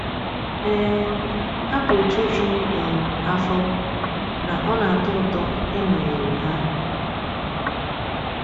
um Ha bụ òtù juru um afọ, na ọ na-atọ ụtọ ịnọnyere ha.